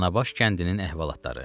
Danabaş kəndinin əhvalatları.